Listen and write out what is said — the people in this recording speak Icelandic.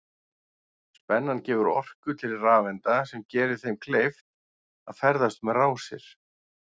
Spennan gefur orku til rafeinda sem gerir þeim kleift að ferðast um rásir.